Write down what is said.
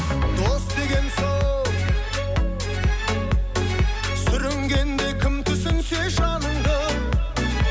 дос деген сол сүрінгенде кім түсінсе жаныңды